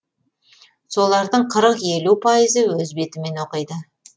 солардың қырық елу пайызы өз бетімен оқиды